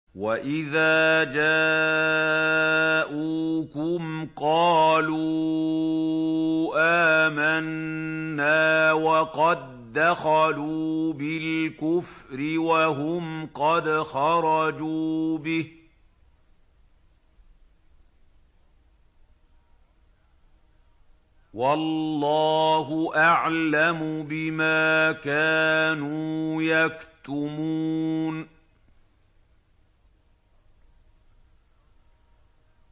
وَإِذَا جَاءُوكُمْ قَالُوا آمَنَّا وَقَد دَّخَلُوا بِالْكُفْرِ وَهُمْ قَدْ خَرَجُوا بِهِ ۚ وَاللَّهُ أَعْلَمُ بِمَا كَانُوا يَكْتُمُونَ